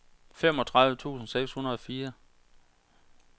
femogtredive tusind seks hundrede og fire